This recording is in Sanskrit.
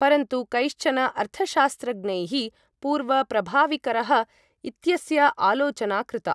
परन्तु कैश्चन अर्थशास्त्रज्ञैः, पूर्व प्रभाविकरः इत्यस्य आलोचना कृता।